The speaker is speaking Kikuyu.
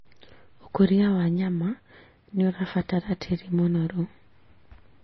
ũkũria wa nyama nĩũrabatara tĩri mũnoru